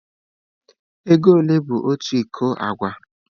Ego ole bụ otu iko agwa?